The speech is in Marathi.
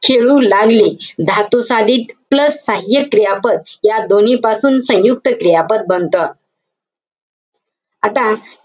खेळू लागली. धातुसाधित plus सहाय्यक क्रियापद, या दोन्हीपासून सयुंक्त क्रियापद बनतं. आता,